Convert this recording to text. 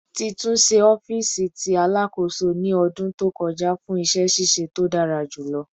Ti tunṣe ọfiisi ti Alakoso ni ọdun to kọja fun iṣẹ ṣiṣe to dara julọ